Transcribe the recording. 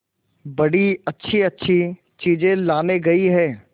बड़ी अच्छीअच्छी चीजें लाने गई है